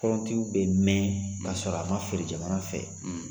Kɔrɔntiw be mɛn ka sɔrɔ a ma feere jamana fɛ